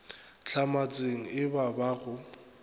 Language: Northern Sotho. hlamatsega e ba ba go